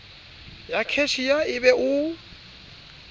ya cashier e be o